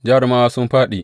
Jarumawa sun fāɗi!